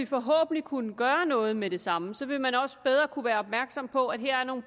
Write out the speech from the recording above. forhåbentlig kunne gøre noget med det samme så vil man også bedre kunne være opmærksom på at her er nogle